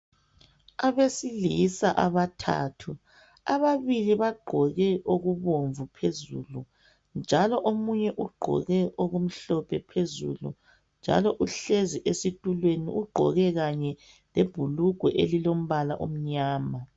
Abesilisa abathathu ababili bagqoke okubomvu phezulu njalo omunye ugqoke okumhlophe phezulu njalo uhlezi esitulweni ugqoke kanye lebhulugwa elilombala omnyama.